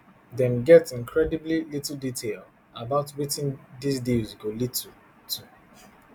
dem get incredibly little detail about wetin diz deals go lead to to